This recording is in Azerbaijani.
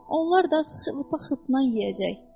Onlar da xırpa-xırpa yeyəcək.